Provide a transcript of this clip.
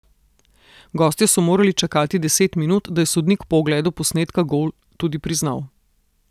Gostje so morali čakati deset minut, da je sodnik po ogledu posnetka gol tudi priznal.